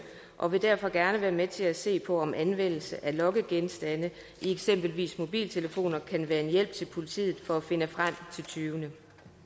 og vi vil derfor gerne være med til at se på om anvendelse af lokkegenstande i eksempelvis mobiltelefoner kan være en hjælp til politiet for at finde frem til tyvene